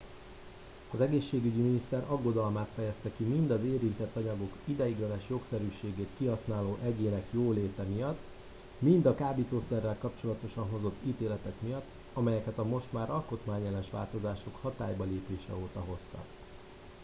az egészségügyi miniszter aggodalmát fejezte ki mind az érintett anyagok ideiglenes jogszerűségét kihasználó egyének jóléte miatt mind a kábítószerrel kapcsolatosan hozott ítéletek miatt amelyeket a most már alkotmányellenes változások hatálybalépése óta hoztak